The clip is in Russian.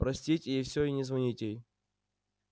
простить ей все и не звонить ей